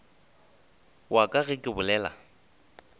wa ka ge ke bolela